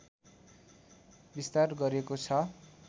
विस्तार गरेको छ